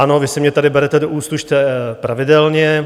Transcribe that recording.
Ano, vy si mě tady berete do úst pravidelně.